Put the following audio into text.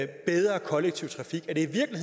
bedre kollektiv trafik og